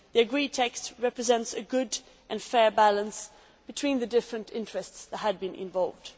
The agreed text represents a good and fair balance between the different interests involved.